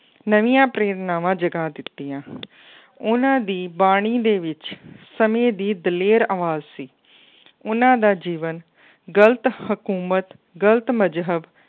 ਨਵੀਂਆਂ ਪ੍ਰੇਰਨਾਵਾਂ ਜਗਾ ਦਿੱਤੀਆਂ ਉਹਨਾਂ ਦੀ ਬਾਣੀ ਦੇ ਵਿੱਚ ਸਮੇਂ ਦੀ ਦਲੇਰ ਆਵਾਜ਼ ਸੀ ਉਹਨਾਂ ਦਾ ਜੀਵਨ ਗ਼ਲਤ ਹਕੂਮਤ, ਗ਼ਲਤ ਮਜ਼ਹਬ